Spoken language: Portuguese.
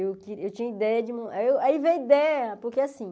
Eu queri eu tinha ideia de... Aí veio a ideia, porque assim...